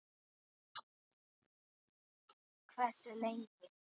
Hversu lengi?